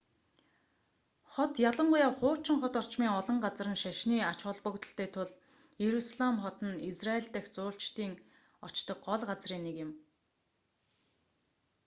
хот ялангуяа хуучин хот орчмын олон газар нь шашны ач холбогдолтой тул иерусалим хот нь израйль дахь жуулчдын очдог гол газрын нэг юм